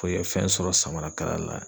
i ka fɛn sɔrɔ samarakala la